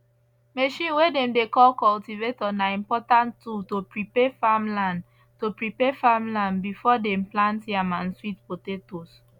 machine way dem dey call cultivator na important tool to prepare farmland to prepare farmland before dem plant yam and sweet potatoes